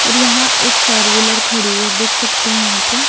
और यहां एक फोर व्हीलर खड़ी है देख सकते यहां पे--